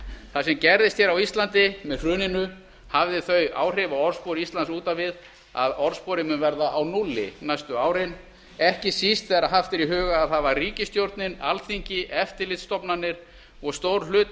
það sem gerðist hér á íslandi með hruninu hafði þau áhrif á orðspor íslands út á við að orðsporið mun verða á núlli næstu árin ekki síst þegar haft er í huga að það var ríkisstjórnin alþingi eftirlitsstofnanir og stór hluti